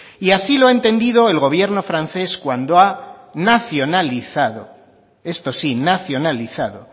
y así lo ha entendido el gobierno francés cuando ha nacionalizado esto sí nacionalizado